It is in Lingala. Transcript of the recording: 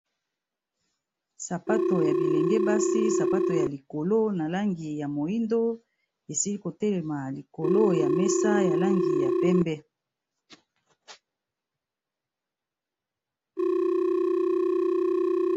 Sapatu ya bilenge basi, sapatu ya likolo na langi ya moyindo esili ko telema likolo ya mesa ya langi ya pembe.